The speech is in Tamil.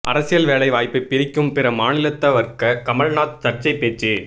அரசியல் வேலை வாய்ப்பை பறிக்கும் பிற மாநிலத்தவர்க கமல்நாத் சர்ச்சை பேச்சு